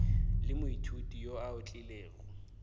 le moithuti yo a otlilego